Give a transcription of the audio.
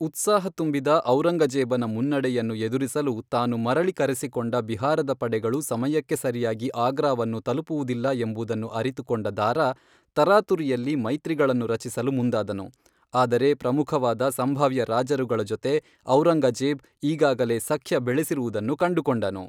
ಉತ್ಸಾಹ ತುಂಬಿದ ಔರಂಗಜೇಬನ ಮುನ್ನಡೆಯನ್ನು ಎದುರಿಸಲು ತಾನು ಮರಳಿ ಕರೆಸಿಕೊಂಡ ಬಿಹಾರದ ಪಡೆಗಳು ಸಮಯಕ್ಕೆ ಸರಿಯಾಗಿ ಆಗ್ರಾವನ್ನು ತಲುಪುವುದಿಲ್ಲ ಎಂಬುದನ್ನು ಅರಿತುಕೊಂಡ ದಾರಾ, ತರಾತುರಿಯಲ್ಲಿ ಮೈತ್ರಿಗಳನ್ನು ರಚಿಸಲು ಮುಂದಾದನು, ಆದರೆ ಪ್ರಮುಖವಾದ ಸಂಭಾವ್ಯ ರಾಜರುಗಳ ಜೊತೆ ಔರಂಗಜೇಬ್ ಈಗಾಗಲೇ ಸಖ್ಯ ಬೆಳೆಸಿರುವುದನ್ನು ಕಂಡುಕೊಂಡನು.